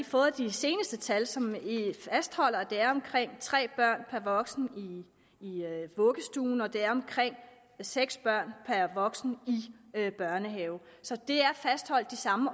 fået de seneste tal som fastholder at det er omkring tre børn per voksen i vuggestuen og at det er omkring seks børn per voksen i børnehaven så der er fastholdt de samme